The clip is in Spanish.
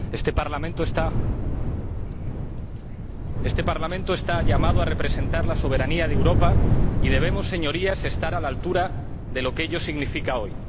Este Parlamento está llamado a representar la soberanía de Europa y debemos, Señorías, estar a la altura de lo que ello significa hoy.